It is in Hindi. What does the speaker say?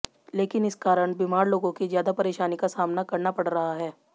लेकिन इस कारण बीमार लोगों की ज्यादा परेशानी का सामना करना पड़ रहा है